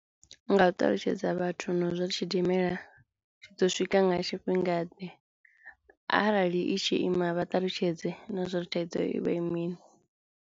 Nga u ṱalutshedza vhathu no zwi ri tshidimela tshi ḓo swika nga tshifhinga ḓe arali i tshi ima vha ṱalutshedze na zwori thaidzo ivha i mini.